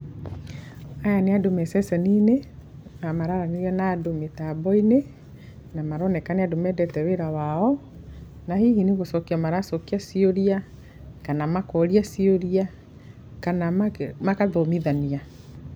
Aya nĩ andũ me ceceni-inĩ na maraaranĩria na andũ mĩtamboinĩ na maroneka nĩ andũ mendete wĩra wao na hihi nĩ gũcokia maracokia ciũria, kana makoria ciũria, kana magathomithania.